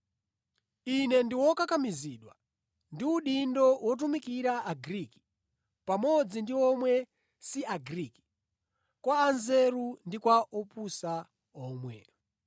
Ine ndi wokakamizidwa ndi udindo wotumikira Agriki pamodzi ndi omwe si Agriki, kwa anzeru ndi kwa opusa omwe.